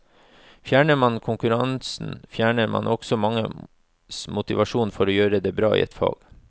Fjerner man konkurransen, fjerner man også manges motivasjon for å gjøre det bra i et fag.